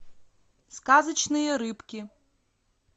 сказочные рыбки